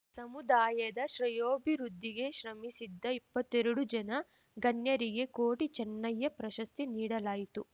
ಸಮುದಾಯದ ಶ್ರೇಯೋಭಿವೃದ್ಧಿಗೆ ಶ್ರಮಿಸಿದ್ದ ಇಪ್ಪತ್ತೆರಡು ಜನ ಗಣ್ಯರಿಗೆ ಕೋಟಿ ಚೆನ್ನಯ್ಯ ಪ್ರಶಸ್ತಿ ನೀಡಲಾಯಿತು